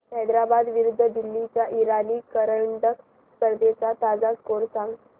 हैदराबाद विरुद्ध दिल्ली च्या इराणी करंडक स्पर्धेचा ताजा स्कोअर सांगा